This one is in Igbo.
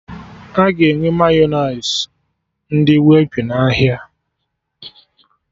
Aga enwe Mayọnais ndị Whippy n'ahịa